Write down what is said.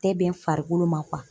Tɛ bɛn n farikolo ma